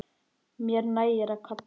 Mér nægir að kalla.